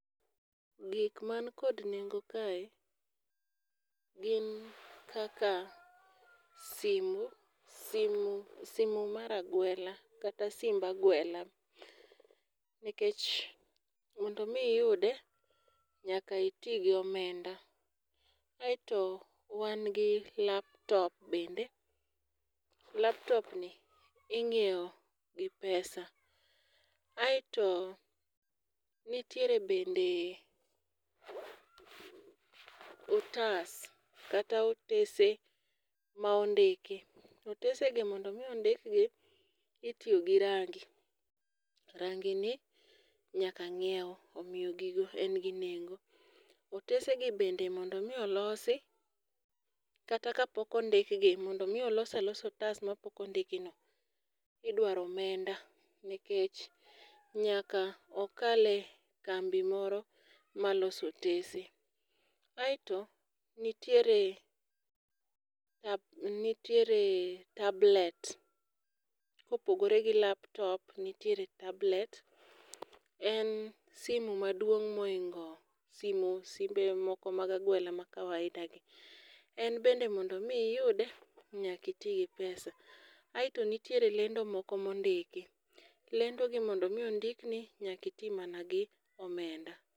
Gik man kod nengo kae gin kaka simu simu simu mar agwela kata simb agwela. Nikech mondo mi iyude nyaka itii gi omenda. Aeto wan gi laptop bende, laptop ni inyiewo gi pesa. Aeto nitiere bende otas kata otese ma ondiki to otese gi mondo mi ondik gi itiyo gi rangi, rangi ni nyaka ng'iew omiyo gigo en gi nengo .Otese gi bende mondo mi olosi kata kapok ondikgi mondo mi olo alosa otas mapok ondik no idwaro omenda nikech nyaka okal e kambi moro maloso otese. Aeto nitiere nitiere tablet kopogore gi laptop nitiere tablet, en simu maduong' moingo simu simbe moko mag agwela ma kawaida gi. En be mondo mi iyude nyaki tii gi pesa aeto nitie lendo moko mondiki, lendo gi mondo mi ondik ni nyaki tii mana gi omenda.